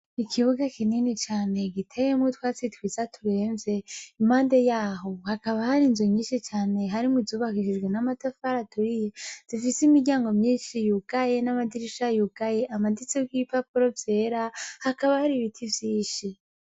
Ikibuga kinini cane giteyemwo twa tsitwa iza turemve imande yaho hakaba hari inzu nyinshi cane harimwo izubahishizwe n'amatafara aturiye zifise imiryango myinshi yugaye n'amadirisha yugaye amaditso g'ipapuro vyera hakaba hari ibiti vyinshi.